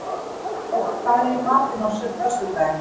Jóa, hvað er í matinn á föstudaginn?